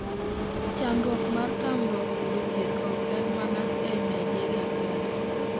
Chandruok mar tamruok yudo thieth ok en mana e Nigeria kende.